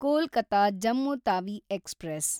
Kolkata-Jammu Tawi express